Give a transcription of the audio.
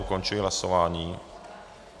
Ukončuji hlasování.